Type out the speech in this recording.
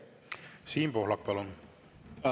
Siim Pohlak, palun!